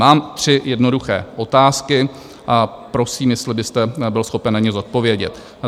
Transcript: Mám tři jednoduché otázky a prosím, jestli byste byl schopen na ně odpovědět.